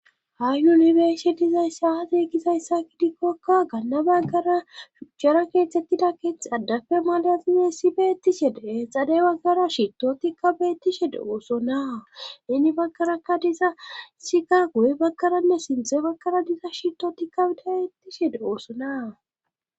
Ha yuniberse dizay saate gizayssa gidikkokka ganna baggara shuchchara keethtettida keeth addafe malazize si beettishedee xade baggara shitotikka beettishede oosona inni baggaraka diza sika guye bagkaranne sinthe bakara diza shito tikka dbeettishe de oossonaa.